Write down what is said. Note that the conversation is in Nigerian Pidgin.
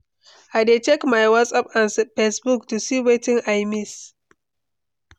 I dey check my whatsapp and facebook to see wetin i miss.